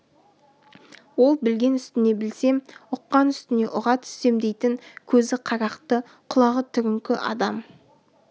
ол білген үстіне білсем ұққан үстіне ұға түссем дейтін көзі қарақты құлағы түріңкі адам